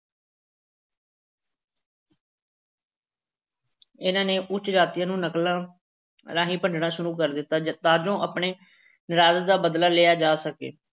ਇਹਨਾਂ ਨੇ ਉੱਚ ਜਾਤੀਆਂ ਨੂੰ ਨਕਲਾਂ ਰਾਹੀਂ ਭੰਡਣਾ ਸ਼ੁਰੂ ਕਰ ਦਿੱਤਾ ਤਾਂ ਜੋ ਆਪਣੇ ਨਿਰਾਦਰ ਦਾ ਬਦਲਾ ਲਿਆ ਜਾ ਸਕੇ।